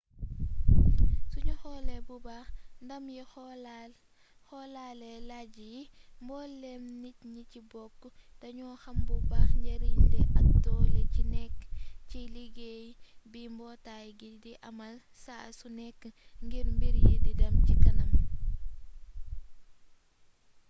suñu xoole bu baax ndam yi xoolaale lajj yi mbooleem nit ñi ci bokk dañu xam bu baax njariñ li ak doole ci nekk ci liuggéey bi mbootaay gi di amal saa su nekk ngir mbir yi di dem ci kanam